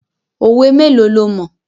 Òwe mélòó lo mọ̀?